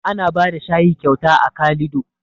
Ana bada shayi kyauta a kalido